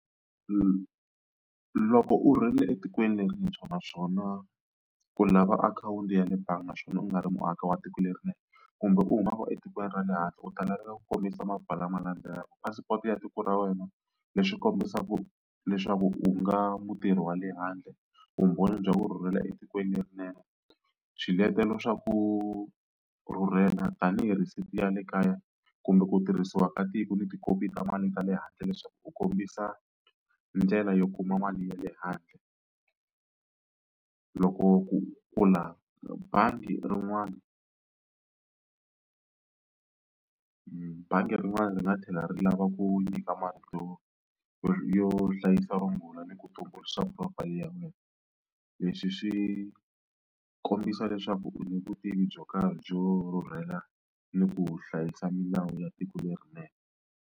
Loko u etikweni lerintshwa naswona u lava akhawunti ya le bangi naswona u nga ri muaka wa tiko kumbe u humaka etikweni ra le handle u ta laveka ku kombisa maphepha lama landzelaka passport ya tiko ra wena leswi kombisaka leswaku u nga mutirhi wa le handle, vumbhoni bya ku rhurhela etikweni lerinene, swiletelo swa ku rhurhela tanihi ya le kaya kumbe ku tirhisiwa ka tiko ni tikhopi ta mali ta le handle leswaku u kombisa ndlela yo kuma mali ya le handle. Loko ku pfula bangi rin'wana bangi rin'wana ri nga tlhela ri lava ku nyika marito yo yo hlayisa vumbhoni ni ku tumbuluxa profile ya wena. Leswi swi kombisa leswaku u ni vutivi byo karhi byo rhurhela ni ku hlayisa milawu ya tiko lerinene.